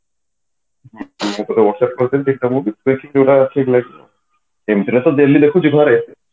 ମୁଁ ତମକୁ whatsapp କରିଥିଲି ଦେଖ କୋଉଟା ଠିକ ଲାଗିବ ସେମିତିରେ ତ daily ଦେଖୁଛୁ ଘରେ